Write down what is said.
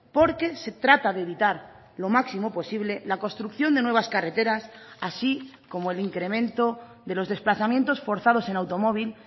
porque se trata de evitar lo máximo posible la construcción de nuevas carreteras así como el incremento de los desplazamientos forzados en automóvil